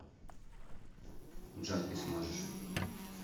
джой ты сможешь